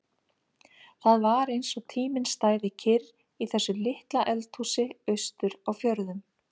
Það var eins og tíminn stæði kyrr í þessu litla eldhúsi austur á fjörðum.